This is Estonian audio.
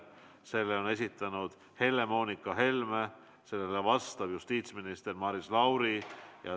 Selle on esitanud Helle-Moonika Helme ja sellele vastab justiitsminister Maris Lauri.